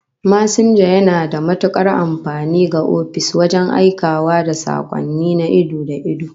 Masinja yana da matukar amfani ga ofis wajen aikawa da sakonni na ido da ido